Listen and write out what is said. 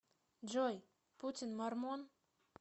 джой путин мормон